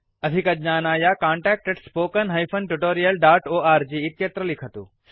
अधिकज्ञानाय contactspoken tutorialorg इत्यत्र लिखतु